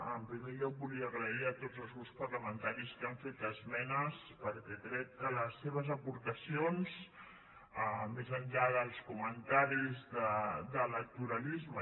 en primer lloc volia donar les gràcies a tots els grups parlamentaris que han fet esmenes perquè crec que les seves aportacions més enllà dels comentaris d’electoralisme